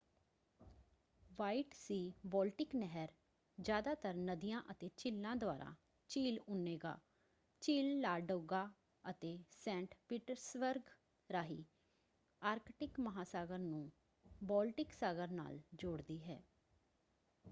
White Sea Baltic ਨਹਿਰ ਜ਼ਿਆਦਾਤਰ ਨਦੀਆਂ ਅਤੇ ਝੀਲਾਂ ਦੁਆਰਾ ਝੀਲ ਓਨੇਗਾ ਝੀਲ ਲਾਡੋਗਾ ਅਤੇ ਸੈਂਟ ਪੀਟਰਸਬਰਗ ਰਾਹੀਂ ਆਰਕਟਿਕ ਮਹਾਂਸਾਗਰ ਨੂੰ ਬਾਲਟਿਕ ਸਾਗਰ ਨਾਲ ਜੋੜਦੀ ਹੈ।